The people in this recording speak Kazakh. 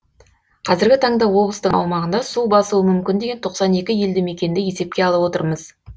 қазіргі таңда облыстың аумағында су басуы мүмкін деген тоқсан екі елді мекенді есепке алып отырмыз